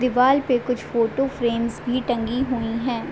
दीवाल पे कुछ फोटो फ्रेम्स भी टंगी हुई है।